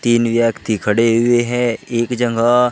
तीन व्यक्ति खड़े हुए है एक जगह।